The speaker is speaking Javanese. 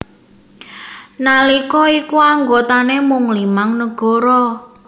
Nalika iku anggotané mung limang nagara